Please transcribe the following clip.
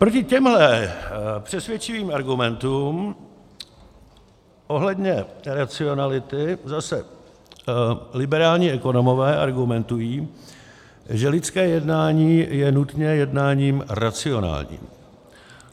Proti těmhle přesvědčivým argumentům ohledně racionality zase liberální ekonomové argumentují, že lidské jednání je nutně jednáním racionálním.